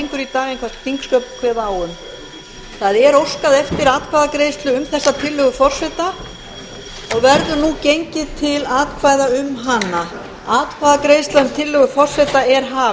en hvað þingsköp kveða á um það er óskað eftir atkvæðagreiðslu um þessa tillögu forseta og verður nú gengið til atkvæða um hana